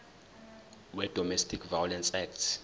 wedomestic violence act